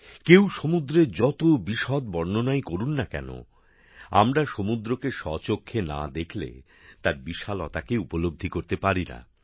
কেউ সমুদ্রের যত বিশদ বর্ণনাই করুক না কেন আমরা সমুদ্রকে স্বচক্ষে না দেখলে তার বিশালতাকে উপলব্ধি করতে পারিনা